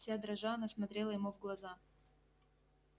вся дрожа она смотрела ему в глаза